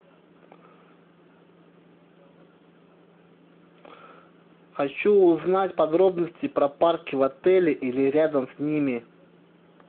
хочу узнать подробности про парки в отеле или рядом с ними